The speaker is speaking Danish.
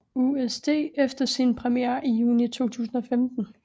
USD efter sin premiere i juni 2015